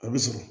A bɛ sɔrɔ